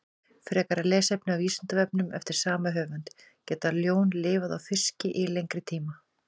Frekara lesefni á Vísindavefnum eftir sama höfund: Geta ljón lifað á fiski í lengri tíma?